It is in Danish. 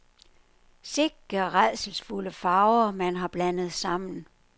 Sikke rædselsfulde farver, man har blandet sammen.